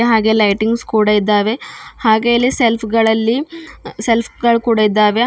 ಹಾಗೆ ಲೈಟಿಂಗ್ಸ್ ಕೂಡ ಇದ್ದಾವ ಹಾಗೆ ಇಲ್ಲಿ ಸೆಲ್ಫ್ ಗಳಲ್ಲಿ ಸೆಲ್ಫ್ ಗಳು ಕೂಡ ಇದ್ದಾವೆ.